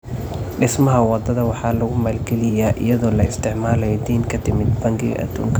Dhismaha wadada waxaa lagu maalgeliyaa iyadoo la isticmaalayo deyn ka timid bangiga adduunka.